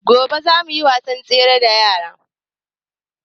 Gobe za mu yi wasan tsere da yaran